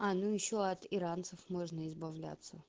а ну ещё от иранцев можно избавляться